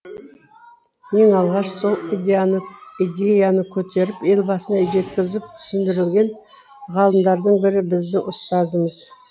ең алғаш сол идеяны көтеріп елбасына жеткізіп түсіндірген ғалымдардың бірі біздің ұстазымыз